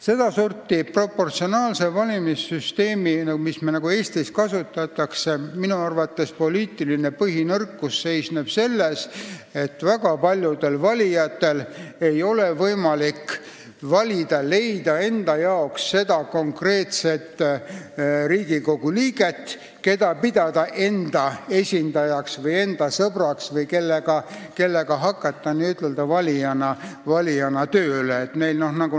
Seda sorti proportsionaalse valimissüsteemi, mida meil Eestis kasutatakse, poliitiline põhinõrkus seisneb minu arvates selles, et väga paljudel valijatel ei ole võimalik leida endale konkreetset Riigikogu liiget, keda nad saaksid pidada enda esindajaks või sõbraks ja kellega nad saaksid hakata n-ö valijana tööle.